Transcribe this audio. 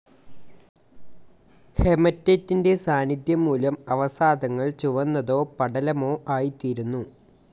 ഹെമറ്റെറ്റിൻ്റെ സാന്നിദ്ധ്യം മൂലം അവസാദങ്ങൾ ചുവന്നതോ പടലമോ ആയിത്തീരുന്നു.